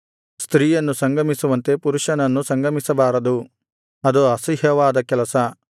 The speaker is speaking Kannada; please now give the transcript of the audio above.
ಸ್ತ್ರೀಯನ್ನು ಸಂಗಮಿಸುವಂತೆ ಪುರುಷನನ್ನು ಸಂಗಮಿಸಬಾರದು ಅದು ಅಸಹ್ಯವಾದ ಕೆಲಸ